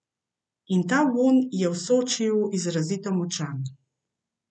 In ta vonj je v Sočiju izrazito močan.